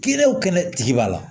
Kɛnɛw kɛnɛ tigi b'a la